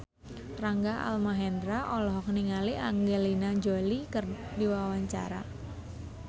Rangga Almahendra olohok ningali Angelina Jolie keur diwawancara